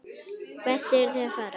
Hvert eruð þið að fara?